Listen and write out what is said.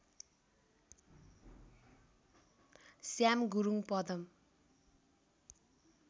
Shyam Gurung Padam